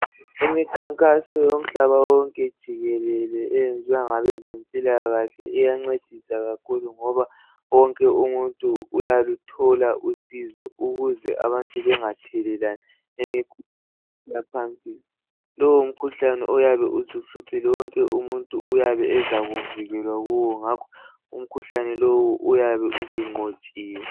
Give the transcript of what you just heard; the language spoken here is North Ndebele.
imikhankaso yomhlaba wonke jikelele eyenziwa ngabezempilakahle iyancedisa kakhulu ngoba wonke umuntu uyaluthola usizo ukuze abantu bengathelelani imikhuhlane lowu umkhuhlane oyabe usuhluphile wonke umuntu uyabe ezakuvikelwa kuwo ngakho umkhuhlane lowu uyabe usunqotshiwe